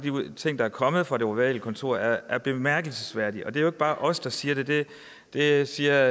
ting der er kommet fra det ovale kontor er er bemærkelsesværdige og det er jo ikke bare os der siger det det det siger